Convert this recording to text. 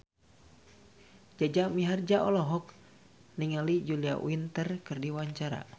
Jaja Mihardja olohok ningali Julia Winter keur diwawancara